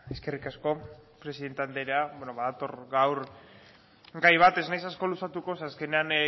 eskerrik asko presidente andrea badator gaur gai bat ez naiz asko luzatuko zeren azkenean